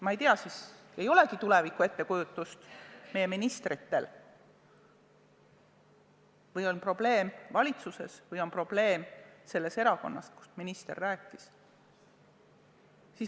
Ma ei tea, kas meie ministritel ei olegi tulevikust ettekujutust või on probleem valitsuses või on probleem selles erakonnas, mille nimel minister rääkis.